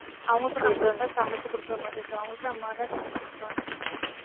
அவங்களுக்கு சமைச்சு கொடுக்கற மாதிரி இருக்கும் அவங்களுக்கும் அம்மாதான் சமைச்சு கொடுப்பாங்க